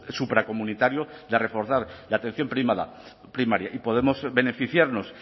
supracomunitario de reforzar la atención primaria y podemos beneficiarnos